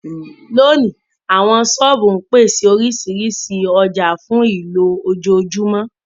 Lónìí, àwọn Ṣọ́ọ̀bù ń pèsè oríṣiríṣi ọjà fún ìlò ojoojúmọ́